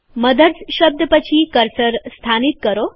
mothers શબ્દ પછી cursor સ્થાનીત કરો